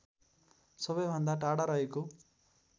सबैभन्दा टाढा रहेको